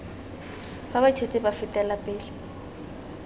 fa baithuti ba fetela pele